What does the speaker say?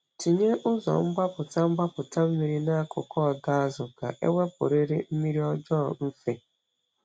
Tinye ụzọ mgbapụta mgbapụta mmiri n’akụkụ ọdọ azụ ka ewepụrịrị mmiri ọjọọ mfe.